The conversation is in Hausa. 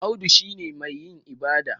Audu shi ne mai yin ibada